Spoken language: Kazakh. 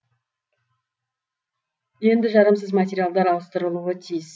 енді жарамсыз материалдар ауыстырылуы тиіс